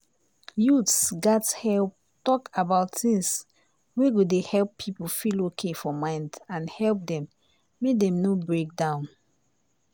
youths gats help talk about things wey go dey help people feel okay for mind and help them make dem no break down.